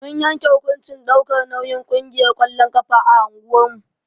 Mun yanke hukuncin ɗaukar nauyin ƙungiyar ƙwallon ƙafa a unguwar mu.